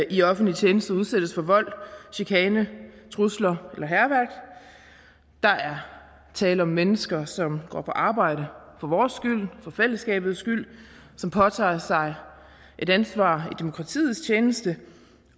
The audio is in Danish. i offentlig tjeneste udsættes for vold chikane trusler eller hærværk der er tale om mennesker som går på arbejde for vores skyld for fællesskabets skyld som påtager sig et ansvar i demokratiets tjeneste